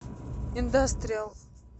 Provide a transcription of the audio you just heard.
индастриал